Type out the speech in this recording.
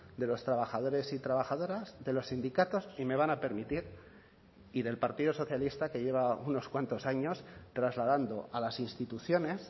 de los trabajadores y trabajadoras de los sindicatos y me van a permitir y del partido socialista que lleva unos cuantos años trasladando a las instituciones